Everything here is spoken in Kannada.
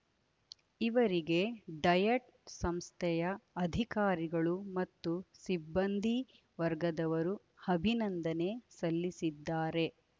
ಇವರಿಗೆ ಡಯಟ್‌ ಸಂಸ್ಥೆಯ ಅಧಿಕಾರಿಗಳು ಮತ್ತು ಸಿಬ್ಬಂದಿ ವರ್ಗದವರು ಅಭಿನಂದನೆ ಸಲ್ಲಿಸಿದ್ದಾರೆ